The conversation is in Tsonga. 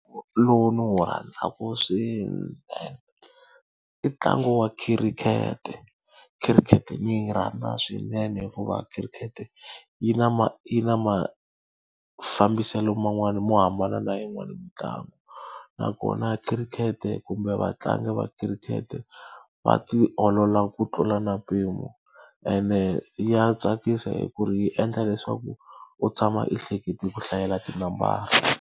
Lowu ndzi wu rhandzaka swinene, i ntlangu wa khirikhete. Khirikhete ni yi rhandza swinene hikuva khirikhete yi na yi na mafambiselo man'wana mo hambana na yin'wani mitlangu. Nakona khirikhete kumbe vatlangi va khirikhete va ti olola ku tlula na mpimo, ene ya tsakisa hi ku ri yi endla leswaku u tshama i hlekete ku hlayela tinambara.